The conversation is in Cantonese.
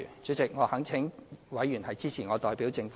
主席，我懇請委員支持我代表政府提出的修正案。